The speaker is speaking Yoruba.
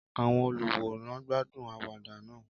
Àwọn olùwòran gbádùn àwàdà náà.